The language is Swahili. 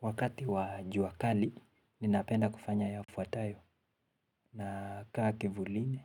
Wakati wa jua kali ninapenda kufanya yafuatayo nakaa kivulini